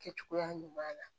Kɛcogoya ɲuman na